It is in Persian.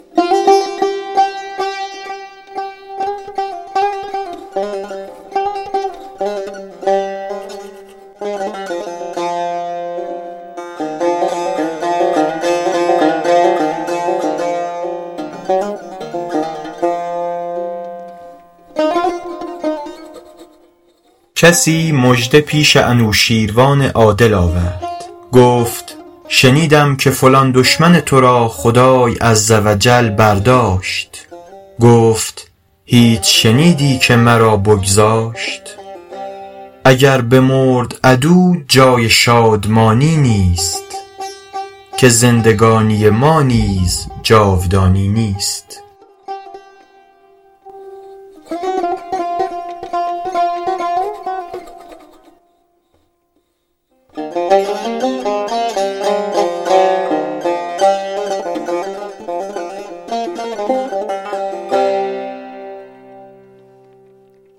کسی مژده پیش انوشیروان عادل آورد گفت شنیدم که فلان دشمن تو را خدای عز و جل برداشت گفت هیچ شنیدی که مرا بگذاشت اگر بمرد عدو جای شادمانی نیست که زندگانی ما نیز جاودانی نیست